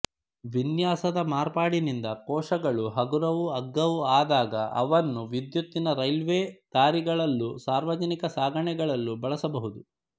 ವಿನ್ಯಾಸದ ಮಾರ್ಪಾಡಿನಿಂದ ಕೋಶಗಳು ಹಗುರವೂ ಅಗ್ಗವೂ ಆದಾಗ ಅವನ್ನು ವಿದ್ಯುತ್ತಿನ ರೈಲ್ವೆ ದಾರಿಗಳಲ್ಲೂ ಸಾರ್ವಜನಿಕ ಸಾಗಣೆಗಳಲ್ಲೂ ಬಳಸಬಹುದು